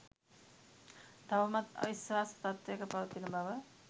තවමත් අවිශ්වාස තත්ත්වයක පවතින බව